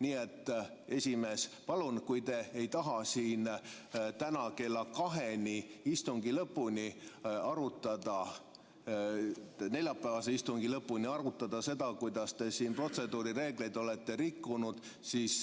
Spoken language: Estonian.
Nii et, esimees, palun, kui te ei taha siin täna kella 14‑ni, neljapäevase istungi lõpuni arutada seda, kuidas te siin protseduurireegleid olete rikkunud, siis